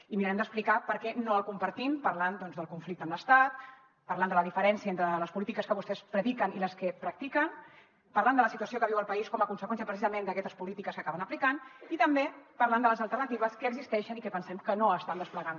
i mirarem d’explicar per què no el compartim parlant del conflicte amb l’estat parlant de la diferència entre les polítiques que vostès prediquen i les que practiquen parlant de la situació que viu el país com a conseqüència precisament d’aquestes polítiques que acaben aplicant i també parlant de les alternatives que existeixen i que pen sem que no estan desplegant